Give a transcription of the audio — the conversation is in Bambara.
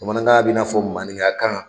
Bamanankan bɛ n'a fɔ manika kan.